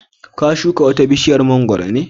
ka shuka wata bishiyar mangwaro ne?